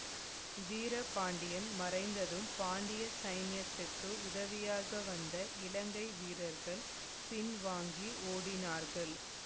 வீரபாண்டியன் மறைந்ததும் பாண்டிய சைன்யத்துக்கு உதவியாக வந்த இலங்கை வீரர்கள் பின்வாங்கி ஓடினார்கள்